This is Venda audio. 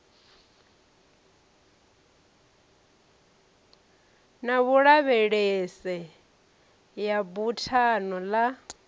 na vhulavhelese ya buthano ḽa